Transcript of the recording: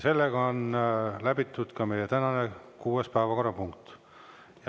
Ka meie tänane kuues päevakorrapunkt on läbitud.